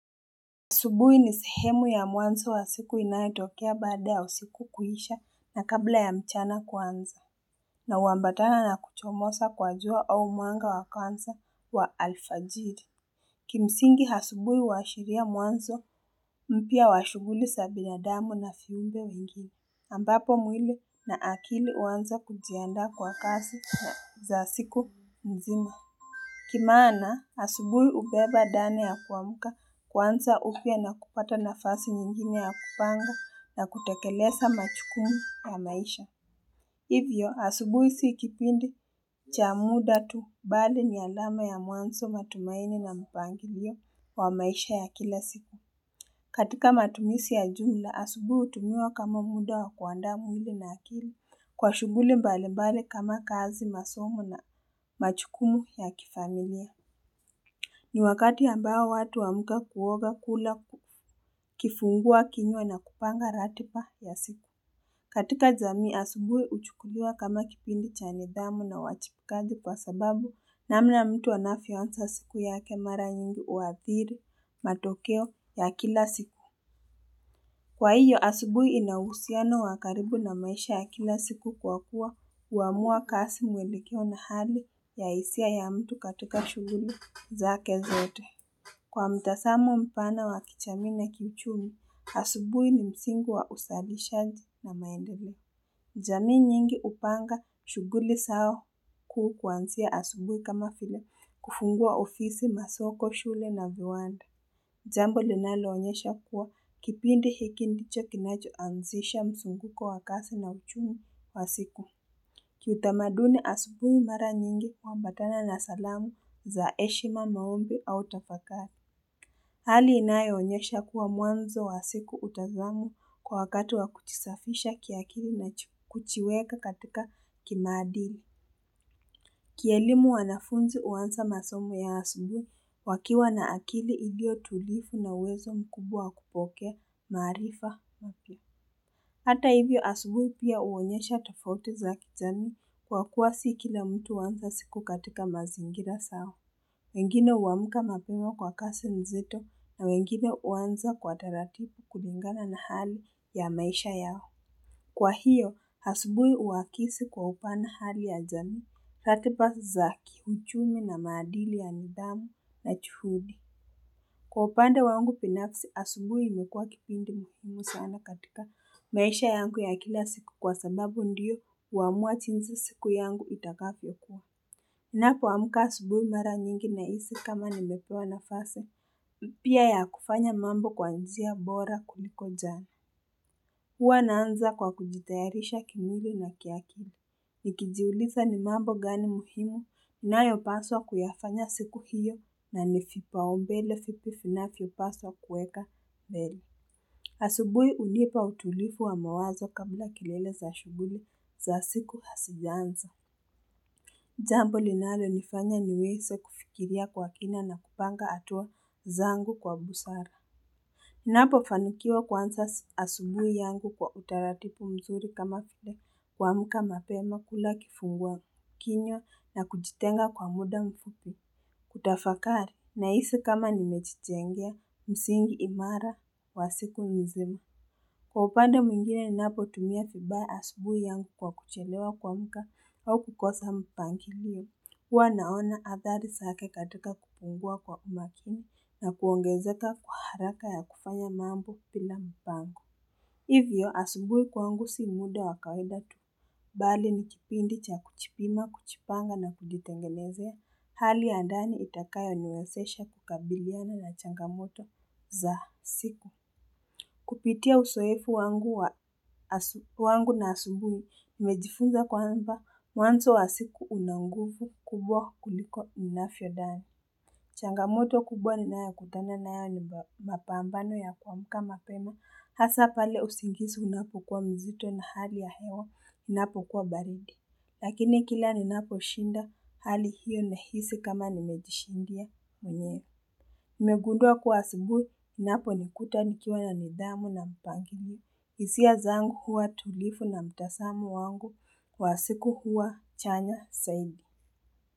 Asubuih ni sehemu ya mwanzo wa siku inaitokea baada ya usiku kuhisha na kabla ya mchana kwanza. Na uambatana na kuchomosa kwa jua au mwanga wa kwanza wa alfajiri. Kimsingi asubuhi wa shiria mwanzo mpya wa shughuli sa binadamu na viumbe wengine. Ambapo mwili na akili uanza kujianda kwa kasi za siku mzima. Kimana asubuhi ubeba ndani ya kuamuka kwanza upya na kupata nafasi nyingine ya kupanga na kutekelesa majukumu ya maisha Hivyo asubuhi sikipindi cha muda tu bali ni alama ya mwanzo matumaini na mpangilio wa maisha ya kila siku katika matumisi ya jumla asubui utumiwa kama muda wa kuanda mwili na akili kwa shughuli mbali mbali kama kazi masomo na majukumu ya kifamilia ni wakati ambao watu wamuka kuoga kula kifungua kinywa na kupanga ratiba ya siku. Katika jamii asubui uchukudua kama kipindi chane damu na wachipikazi kwa sababu na mna mtu wanafionza siku yake mara nyingi uathiri matokeo ya kila siku. Kwa hiyo asubui inawusiano wa karibu na maisha ya kila siku kwa kuwa uamua kasi mwelekeo na hali ya hisia ya mtu katika shughuli zake zote. Kwa mtasamu mpana wa kijamii na kichumi, asubui ni msingi wa usabishaji na maendele. Jamii nyingi upanga shughuli sawa kuu kuanzia asubuhi kama vile kufungua ofisi, masoko, shule na viwanda. Jambo linaloonyesha kuwa kipindi hikindicho kinacho anzisha msunguko wakasi na uchumi pasiku. Kiu tamaduni asubuhi mara nyingi kwa mbatana na salamu za heshima maombi au tafakari. Hali inayeonyesha kuwa mwanzo wa siku utazamu kwa wakatu wa kuchisafisha kiakili na kuchiweka katika kimadili. Kielimu wanafunzi uanza masomo ya asubui wakiwa na akili igio tulifu na wezo mkubwa kupokea marifa mapi. Hata ivyo asubui pia uonyesha tafauti za kijamii kwa kuwa si kila mtu uanza siku katika mazingira sao. Wengine uamuka mapimu kwa kasi nzito na wengine uwanza kwa taratibu kulingana na hali ya maisha yao. Kwa hiyo, hasubui uwakisi kwa upana hali ya jani. Fati pasi zaki, uchumi na maadili ya nidhamu na chuhudi. Kwa upanda wangu binafusi, asubui imekuwa kipindi muhumu sana katika maisha yangu ya kila siku kwa sababu ndiyo uamua chinzi siku yangu itakapi okua. Napo amuka asubui mara nyingi na isi kama nimepewa nafasi, pia ya kufanya mambo kwa njia bora kuliko jani. Hwa naanza kwa kujitayarisha kimwili na kiakili. Nikijiulifa ni mambo gani muhimu nayopaswa kufapanya siku hiyo na nivipaombele fitu finafi yopaswa kueka beri. Asubui ulipa utulifu wa mawazo kabula kilele za shuguli za siku hasijanza. Jambo linalonifanya niweze kufikiria kwa kina na kupanga atua zangu kwa busara. Napo fanukiwa kwanza asubui yangu kwa utaratipu mzuri kama file kwa muka mapema kula kifungua kinyo na kujitenga kwa muda mfuku. Kutafakari na isi kama nimejitengia, msingi imara, wasiku nizema. Kwa upanda mwingine napo tumia kibaya asubui yangu kwa kuchelewa kuamka au kukosa mpangilio. Kwa naona adhari zake katika kupungua kwa umakini na kuongezeka kwa haraka ya kufanya mambo pila mpango. Hivyo, asubuhi kwangu si muda wakawaida tu. Bali nikipindi cha kuchipima, kuchipanga na kujitengelezea. Hali ya ndani itakayo niwesesha kukabiliana na changamoto za siku. Kupitia usoefu wangu na asubuni, nimejifunza kwa amba mwanzo wa siku unanguvu kubwa kuliko ninafiodani. Changamoto kubwa ni naya kutana na yoni mbapambano ya kwa amka mapemo. Hasa pale usingisi unapu kwa mzito na hali ya hewa, unapu kwa baridi. Lakini kila ninaposhinda, hali hiyo nehisi kama nimejishindia mwenye. Imegundua kuwa asubui, napo nikuta nikiwa ya nidhamu na mpangini. Isia zangu huwa tulifu na mtasamu wangu kwa siku huwa chanya zaidi.